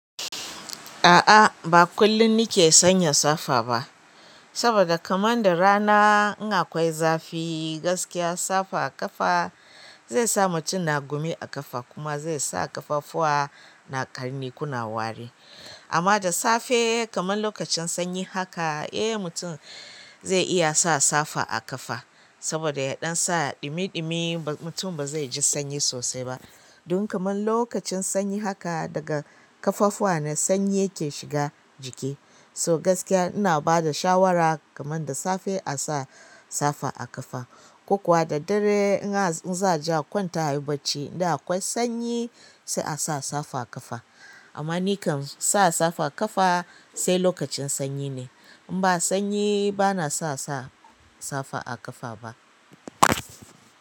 A'a ba kullum nike sanya safa ba, saboda kaman da rana in akwai zafi gaskiya safa a ƙafa zai sa mutum na gumi a ƙafa kuma zai sa ƙafafuwa na ƙarni kuna wari. Amma da safe kaman lokacin sanyi haka eh mutum zai iya sa safa a ƙafa saboda yaɗan sa ɗumi ɗumi mutum ba zai ji sanyi sosai ba. Dun kaman lokacin sanyi haka daga ƙafafuwa na sanyi yake shiga jiki. To gaskiya ina bada shawara kaman da safe a sa safa a ƙafa ko kuwa da dare in za a je kwanta a yi bacci in dai akwai sanyi sai a sa safa a ƙafa. Amma nikam sa safa a ƙafa sai lokacin sanyi ne. In ba sanyi bana sa safa a ƙafa ba.